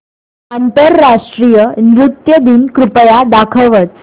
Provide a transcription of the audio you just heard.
आंतरराष्ट्रीय नृत्य दिन कृपया दाखवच